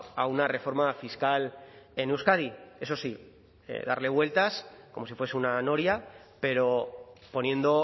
a una reforma fiscal en euskadi eso sí darle vueltas como si fuese una noria pero poniendo